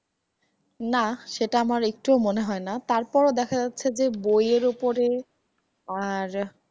না সেটা আমার একটুও মনে হয়না তারপর দেখা যাচ্ছে যে বই এর ওপরে আর।